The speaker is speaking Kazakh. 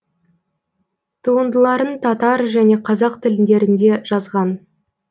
туындыларын татар және қазақ тіліндерінде жазған